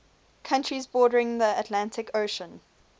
countries bordering the atlantic ocean